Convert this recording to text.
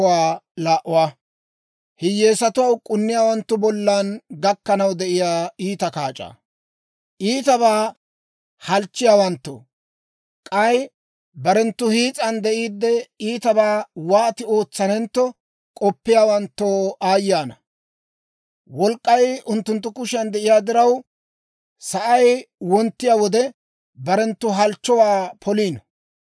Iitabaa halchchiyaawanttoo, k'ay barenttu hiis'an de'iidde, iitabaa wooti ootsanentto k'oppiyaawantto aayye ana! Wolk'k'ay unttunttu kushiyan de'iyaa diraw, sa'ay wonttiyaa wode, barenttu halchchuwaa poliino.